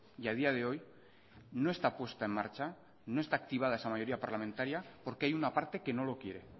y a día de hoy no está puesta en marcha no está activada esa mayoría parlamentaria porque hay una parte que no lo quiere